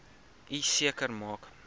u seker maak